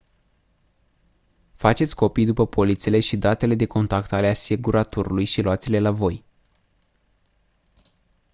faceți copii după polițele și datele de contact ale asiguratorului și luați-le la voi